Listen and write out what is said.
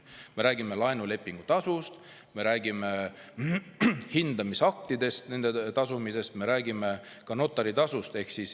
Me räägime laenulepingu tasust, me räägime hindamisakti eest tasumisest, me räägime ka notaritasust.